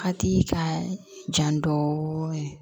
Hakili ka jan dɔɔnin